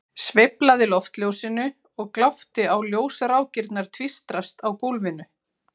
Sveiflaði loftljósinu og glápti á ljósrákirnar tvístrast á gólfinu.